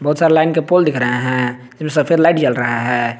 बहुत सारे लाइन के पोल दिख रहे हैं सफेद लाइट जल रही है।